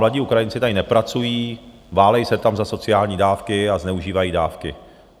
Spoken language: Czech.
Mladí Ukrajinci tady nepracují, válejí se tam za sociální dávky a zneužívají dávky.